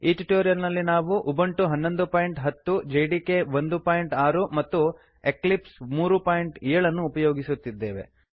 ಈ ಟ್ಯುಟೋರಿಯಲ್ ನಲ್ಲಿ ನಾವು ಉಬುಂಟು 1110 ಹನ್ನೊಂದು ಬಿಂದು ಹತ್ತು ಜೆಡಿಕೆ 16 ಒಂದು ಬಿಂದು ಆರು ಮತ್ತು ಎಕ್ಲಿಪ್ಸ್ 37 ಮೂರು ಬಿಂದು ಏಳು ಅನ್ನು ಉಪಯೋಗಿಸುತ್ತಿದ್ದೇವೆ